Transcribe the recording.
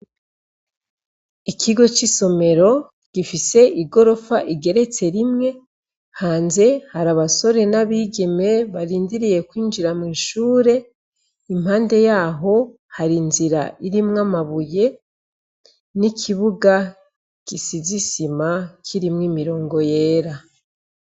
Ikigo c'isomero gifise igorofa rigeretse rimwe. Hanze hari abasore n'abigeme barindiriye kwinjira mw'ishure. Impande yaho hari inzira irimwo amabuye n'ikibuga gisize isima kirimwo imirongo yera.